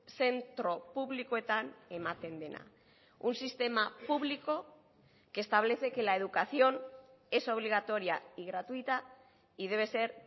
zentro publikoetan ematen dena un sistema público que establece que la educación es obligatoria y gratuita y debe ser